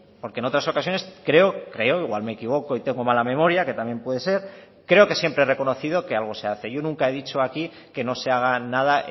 porque en otras ocasiones creo creo igual me equivoco y tengo mala memoria que también puede ser creo que siempre he reconocido que algo se hace yo nunca he dicho aquí que no se haga nada